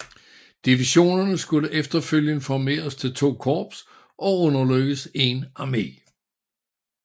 Divisionerne skulle efterfølgende formeres til to korps og underlægges en armé